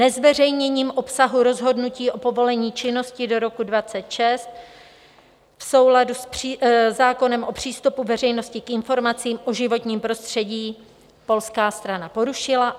Nezveřejněním obsahu rozhodnutí o povolení činnosti do roku 2026 v souladu se zákonem o přístupu veřejnosti k informacím o životním prostředí - polská strana porušila.